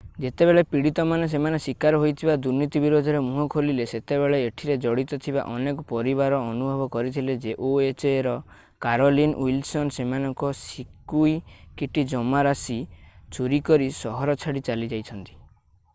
ଯେତେବେଳେ ପିଡ଼ୀତମାନେ ସେମାନେ ଶିକାର ହୋଇଥିବା ଦୁର୍ନୀତି ବିରୋଧରେ ମୁହଁ ଖୋଲିଲେ ସେତେବେଳେ ଏଠିରେ ଜଡ଼ିତ ଥିବା ଅନେକ ପରିବାର ଅନୁଭବ କରିଥିଲେ ଯେ ohaର କାରୋଲିନ୍ ୱିଲସନ୍ ସେମାନଙ୍କ ସିକ୍ୟୁକିଟି ଜମା ରାଶି ଚୋରି କରି ସହର ଛାଡ଼ି ଚାଲିଯାଇଛନ୍ତି।